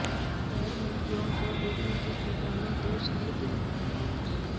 غیر ملکیوں کو لوٹنے کے الزام میں دو شہری گرفتار